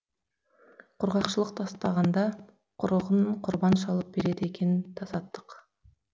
құрғақшылық тастағанда құрығын құрбан шалып береді екен тасаттық